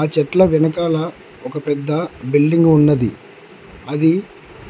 ఆ చెట్ల వెనకాల ఒక పెద్ద బిల్డింగ్ ఉన్నది అది